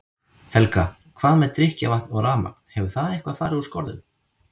Helga: Hvað með drykkjarvatn og rafmagn, hefur það eitthvað fari úr skorðum?